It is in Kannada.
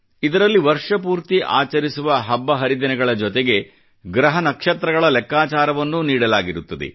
ಇದರಲ್ಲಿ ವರ್ಷಪೂರ್ತಿ ಆಚರಿಸುವ ಹಬ್ಬ ಹರಿದಿನಗಳ ಜೊತೆಗೆ ಗ್ರಹ ನಕ್ಷತ್ರಗಳ ಲೆಕ್ಕಾಚಾರವನ್ನೂ ನೀಡಲಾಗಿರುತ್ತದೆ